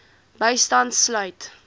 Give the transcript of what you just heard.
bystand sluit